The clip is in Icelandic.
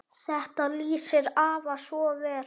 Þetta lýsir afa svo vel.